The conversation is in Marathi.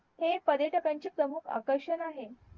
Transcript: हे पर्यटकांचे प्रमुख आकर्षण आहे